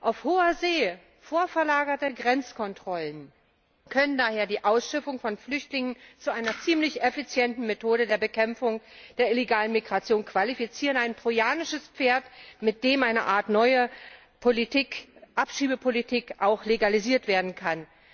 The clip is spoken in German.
Auf Hohe See vorverlagerte Grenzkontrollen können daher die Ausschiffung von Flüchtlingen zu einer ziemlich effizienten Methode der Bekämpfung der illegalen Migration qualifizieren ein trojanisches Pferd, mit dem eine Art neue Abschiebepolitik auch legalisiert werden kann.